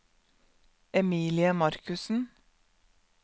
Emilie Markussen